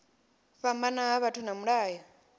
fhambana ha vhathu na mulayo